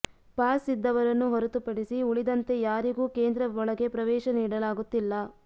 pass ಇದ್ದವರನ್ನು ಹೊರತು ಪಡಿಸಿ ಉಳಿದಂತೆ ಯಾರಿಗೂ ಕೇಂದ್ರ ಒಳಗೆ ಪ್ರವೇಶ ನೀಡಲಾಗುತ್ತಿಲ್ಲ